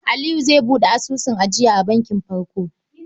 Aliyu zai buɗe asusun ajiya a bankin Farko.